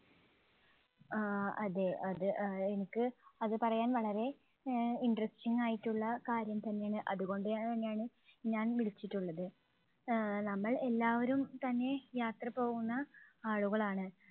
ആ അതെ. അത് ആഹ് എനിക്ക് അത് പറയാൻ വളരെ ആഹ് interesting ആയിട്ടുള്ള കാര്യം തന്നെയാണ്. അതുകൊണ്ടുതന്നെയാണ് ഞാൻ വിളിച്ചിട്ടുള്ളത്. ആഹ് നമ്മൾ എല്ലാവരും തന്നെ യാത്ര പോകുന്ന ആളുകളാണ്.